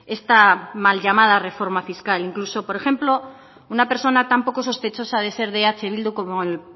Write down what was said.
esta mal llamada reforma fiscal incluso por ejemplo una persona tan poco sospechosa de ser de eh bildu como el